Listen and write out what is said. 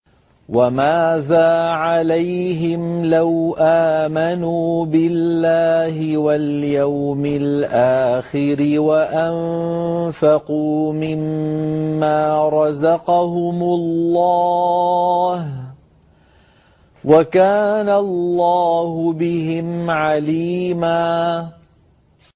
وَمَاذَا عَلَيْهِمْ لَوْ آمَنُوا بِاللَّهِ وَالْيَوْمِ الْآخِرِ وَأَنفَقُوا مِمَّا رَزَقَهُمُ اللَّهُ ۚ وَكَانَ اللَّهُ بِهِمْ عَلِيمًا